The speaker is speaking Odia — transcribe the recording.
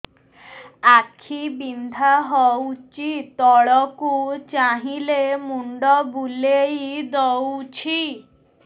ଆଖି ବିନ୍ଧା ହଉଚି ତଳକୁ ଚାହିଁଲେ ମୁଣ୍ଡ ବୁଲେଇ ଦଉଛି